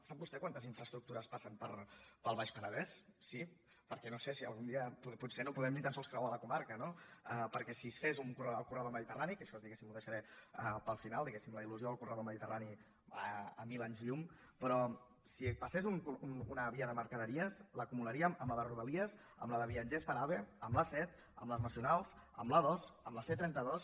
sap vostè quantes infraestructures passen pel baix penedès sí perquè no sé si algun dia potser no podrem ni tan sols creuar la comarca no perquè si es fes el corredor del mediterrani que això diguéssim ho deixaré per al final diguéssim la il·lusió del corredor mediterrani a mil anys llum però si passés una via de mercaderies l’acumularíem amb la de rodalies amb la de viatgers per ave amb l’a set amb les nacionals amb l’a dos amb la c trenta dos